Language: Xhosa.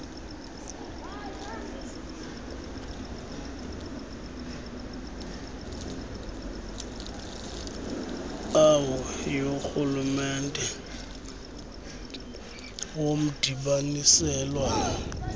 au yorhulumente womdibaniselwano